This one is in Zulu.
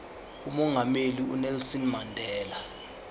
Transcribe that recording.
umongameli unelson mandela